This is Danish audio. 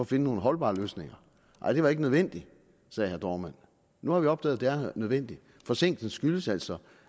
finde nogle holdbare løsninger nej det var ikke nødvendigt sagde herre dohrmann nu har vi opdaget at det er nødvendigt forsinkelsen skyldes altså